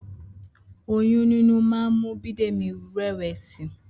Oyún níní máa ń mú Bídèmí rẹwà si